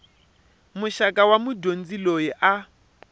muxaka wa mudyondzi loyi a